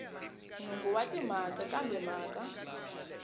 nhungu wa timhaka kambe mhaka